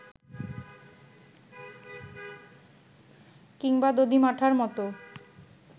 কিংবা দধি-মাঠার মতো